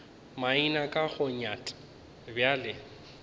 maina ke go nyat bjale